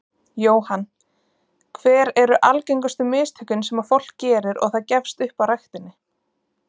Jóhann: Hver eru algengustu mistökin sem að fólk gerir og það gefst upp á ræktinni?